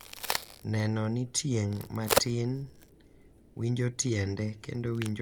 Neno ni tieng' matin winjo tiende kendo winjo maber gik ma ne giwuokgo e kit ogandagi.